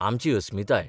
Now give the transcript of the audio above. आमची अस्मिताय.